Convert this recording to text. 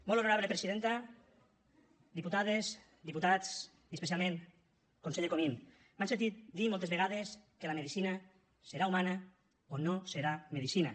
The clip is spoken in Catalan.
molt honorable presidenta diputades diputats i especialment conseller comín m’han sentit dir moltes vegades que la medicina serà humana o no serà medicina